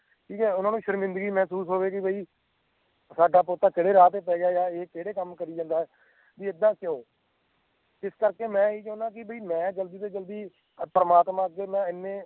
ਜਾਂ ਓਹਨਾ ਨੂੰ ਸ਼ਰਮਿੰਦਗੀ ਮਹਿਸੂਸ ਹੋਵੇ ਕਿ ਬਈ ਸਾਡਾ ਪੋਤਾ ਕਹਿੰਦੇ ਰਾਹ ਪੈ ਗਿਆ ਆ ਜਾਂ ਇਹ ਕਹਿੰਦੇ ਕੰਮ ਕਰਿ ਜਾਂਦਾ ਆ ਬਈ ਏਦਾਂ ਕਿਉਂ ਇਸ ਕਰਕੇ ਮੈਂ ਹੀ ਚਾਹੁੰਦਾ ਆ ਕਿ ਬਈ ਮੈਂ ਜਲਦੀ ਤੋਂ ਜਲਦੀ ਪ੍ਰਮਾਤਮਾ ਅੱਗੇ ਮੈਂ ਏਨੇ